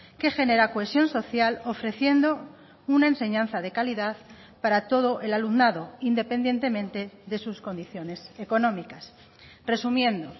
que genera cohesión social ofreciendo una enseñanza de calidad para todo el alumnado independientemente de sus condiciones económicas resumiendo